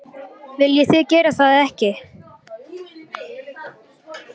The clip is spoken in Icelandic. Viljið þið gera það eða ekki?